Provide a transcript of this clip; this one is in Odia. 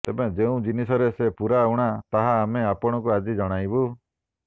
ତେବେ ଯେଉଁ ଜିନିଷରେ ସେ ପୂରା ଊଣା ତାହା ଆମେ ଆପଣଙ୍କୁ ଆଜି ଜଣାଇବୁ